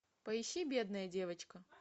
поищи бедная девочка